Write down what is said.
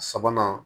Sabanan